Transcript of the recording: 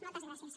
moltes gràcies